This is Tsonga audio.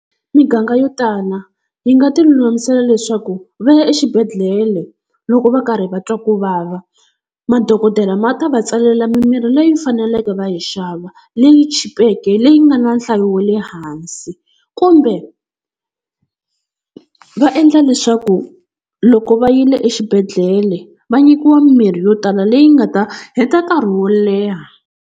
Miganga yo tala yi nga tilulamisela leswaku va ya exibedhlele loko va karhi va twa ku vava. Madokodela ma ta va tsalela mimirhi leyi faneleke va yi xava leyi chipeke leyi yi nga na nhlayo wa le hansi, kumbe va endla leswaku loko va yile exibedhlele va nyikiwa mimirhi yo tala leyi nga ta heta nkarhi wo leha.